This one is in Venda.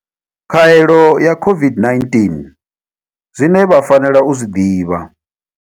Khaelo ya COVID-19, Zwine vha fanela u zwi ḓivha.